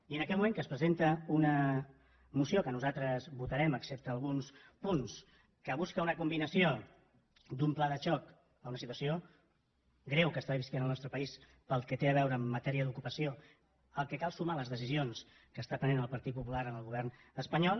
i en aquest moment que es presenta una moció que nosaltres votarem excepte alguns punts que busca una combinació d’un pla de xoc a una situació greu que viu el nostre país pel que té a veure amb matèria d’ocupació al qual cal sumar les decisions que pren el partit popular en el govern espanyol